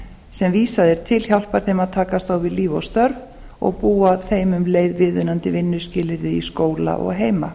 sem vísað er til hjálpa að takast á við líf og störf og búa þeim um leið viðunandi vinnuskilyrði í skóla og heima